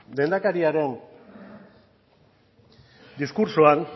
lehendakariaren diskurtsoan